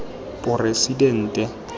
poresidente